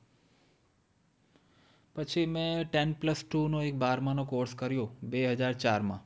પછી મેં ten plus two નો એક બારમાં નો course કર્યો બે હજાર ચારમાં.